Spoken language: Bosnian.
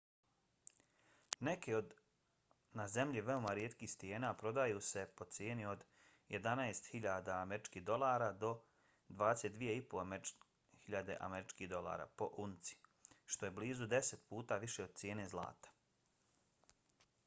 neke od na zemlji veoma rijetkih stijena prodaju se po cijeni od 11.000 usd do 22.500 usd po unci što je blizu deset puta više od cijene zlata